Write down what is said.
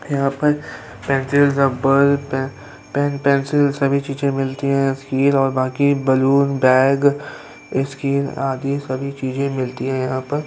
यहाँ पर pencil rubber पे- पेन पेन्सिल सभी चीजें मिलती है। और बाकी बैलून बैग इसकी आदि सभी चीजें मिलती है यहाँ पर।